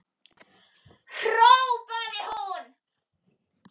hrópaði hún.